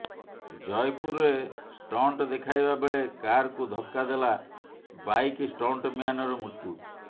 ଜୟପୁରରେ ଷ୍ଟଂଟ ଦେଖାଇବା ବେଳେ କାରକୁ ଧକ୍କା ଦେଲା ବାଇକ ଷ୍ଟଂଟମ୍ୟାନର ମୃତ୍ୟୁ